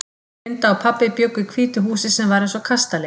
Linda og pabbi bjuggu í hvítu húsi sem var eins og kastali.